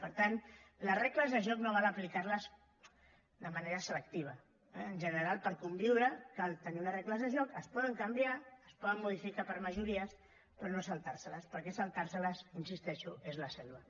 per tant les regles de joc no val aplicar les de manera selectiva eh en general per conviure cal tenir unes regles de joc es poden canviar es poden modificar per majories però no saltar se les perquè saltar seles hi insisteixo és la selva